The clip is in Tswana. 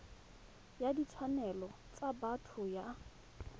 ya ditshwanelo tsa botho ya